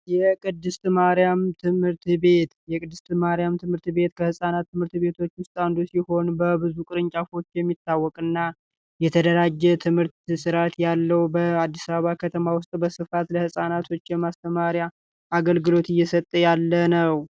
የቅድስት ማርያም ትምህርት ቤት የቅድስት ማርያም ትምህርት ቤት ከፃናት ትምህርት ቤቶች ውስጥ ቅርንጫፎች የሚታወቅ እና የተደራጀ ትምህርት ያለው በአዲስ አበባ ከተማ ውስጥ በስፋት ለፃናቶች የማስተማሪያ አገልግሎት እየሰጠ ያለ ነው